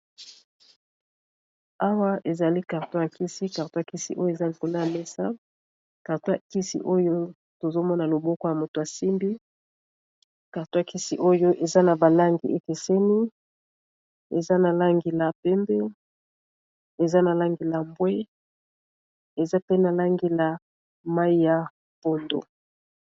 awa ezali karton yakisi karton yakisi oyo eza likolo ya mesa karton ya kisi oyo tozomona loboko ya moto asimbi karto yakisi oyo eza na balangi ekeseni eza nalangila pembe eza na langila bwe eza pe nalangila mai ya pondu